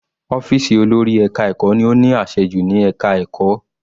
Ọ́fìsì olórí ẹka ẹ̀kọ́ ni ó ní àṣẹ jù ní ẹka ẹ̀kọ́.